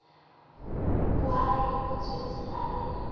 bahae o tswetswe a le